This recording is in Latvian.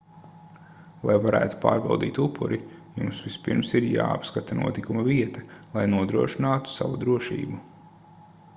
lai varētu pārbaudīt upuri jums vispirms ir jāapskata notikuma vieta lai nodrošinātu savu drošību